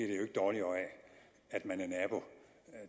at man er nabo